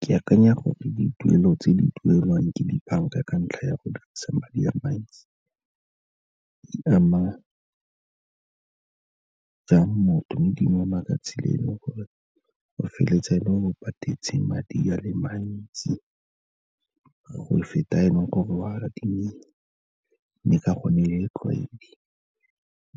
Ke akanya gore dituelo tse di duelwang ke dibanka ka ntlha ya go dirisa madi a mantsi, di ama jang motho mme di mo ama ka tsela e leng gore o feleletsa e le gore o patetse madi a le mantsi go feta a e leng gore wa adimile, mme ka gonne e le tlwaedi